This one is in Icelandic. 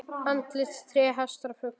Andlit, tré, hestar, fuglar.